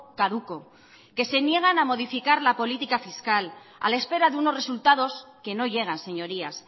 caduco que se niegan a modificar la política fiscal a la espera de unos resultados que no llegan señorías